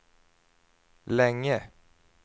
länge